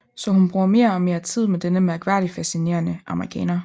Så hun bruger mere og mere tid med denne mærkværdigt fascinerende amerikaner